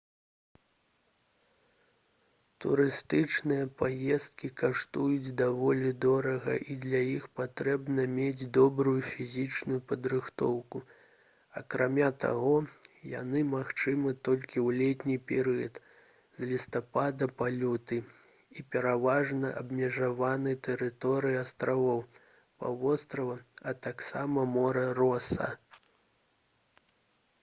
турыстычныя паездкі каштуюць даволі дорага і для іх патрэбна мець добрую фізічную падрыхтоўку акрамя таго яны магчымы толькі ў летні перыяд з лістапада па люты і пераважна абмежаваны тэрыторыяй астравоў паўвострава а таксама мора роса